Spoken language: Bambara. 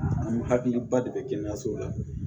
An hakiliba de bɛ kɛnɛyasow la